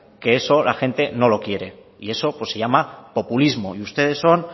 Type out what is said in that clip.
que eso la gente no lo quiere y eso pues se llama populismo y ustedes son